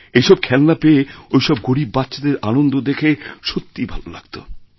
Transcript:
এই সব খেলনা পেয়ে ওই সব গরীববাচ্চাদের আনন্দ দেখে সত্যিই ভালো লাগতো